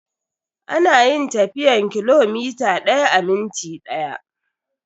Ana yin tafiyan kilomita daya a minti daya.